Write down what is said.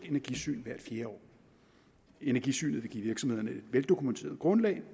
energisyn hvert fjerde år energisynet vil give virksomhederne et veldokumenteret grundlag